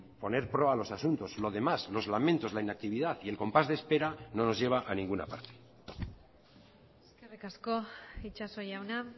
poner a los asuntos lo demás los lamentos la inactividad y el compás de espera no nos lleva a ninguna parte eskerrik asko itxaso jauna